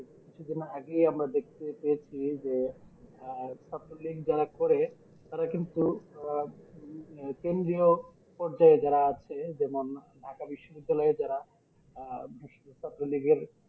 কিছুদিন আগেই আমরা দেখতে পেয়েছি যে আহ ছাত্র লীগ যারা করে তারা কিন্তু আহ উম কেন্দ্রীয় পর্যায়ে যারা আছে যেমন ঢাকা বিশ্ব বিদ্যালয়ে যারা আহ ছাত্রলীগের